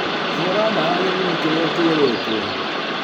Hũra dawa gĩthimi kĩrĩa kĩrĩtwo.